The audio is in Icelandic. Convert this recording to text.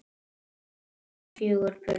Eiga þau fjögur börn.